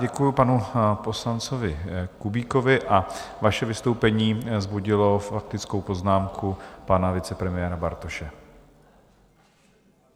Děkuji panu poslanci Kubíkovi a vaše vystoupení vzbudilo faktickou poznámku pana vicepremiéra Bartoše.